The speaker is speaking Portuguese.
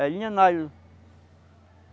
É linha nylon.